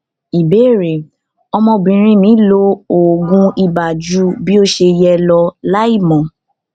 ìbéèrè ọmọbìnrin mi lo oògùn ibà ju bí ó ṣe yẹ lọ láìmọ